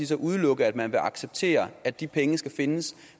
så udelukke at man vil acceptere at de penge skal findes